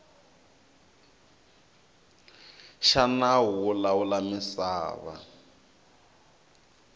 xa nawu wo lawula misava